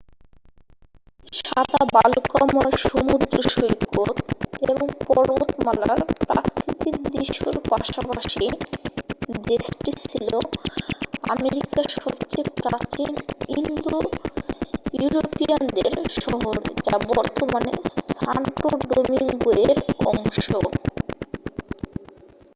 সাদা বালুকাময় সমুদ্র সৈকত এবং পর্বতমালার প্রাকৃতিক দৃশ্যর পাশাপাশি দেশটি ছিল আমেরিকার সবচেয়ে প্রাচীন ইউরোপীয়ানদের শহর যা বর্তমানে সান্টো ডোমিংগোয়ের অংশ